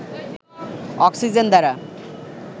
oxygen দ্বারা